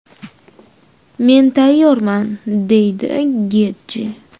Men tayyorman”, deydi Getji.